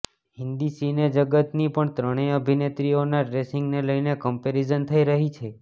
હિન્દી સિનેજગતની પણ ત્રણેય અભિનેત્રીઓના ડ્રેસિંગને લઇને કમ્પેરીઝન થઇ રહી છે